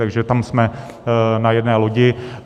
Takže tam jsme na jedné lodi.